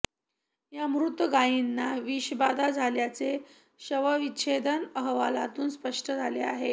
या मृत गायींना विषबाधा झाल्याचे शवविच्छेदन अहवालातून स्पष्ट झाले आहे